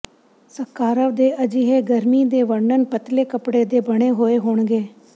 ਸਕਾਰਵ ਦੇ ਅਜਿਹੇ ਗਰਮੀ ਦੇ ਵਰਣਨ ਪਤਲੇ ਕੱਪੜੇ ਦੇ ਬਣੇ ਹੋਏ ਹੋਣਗੇ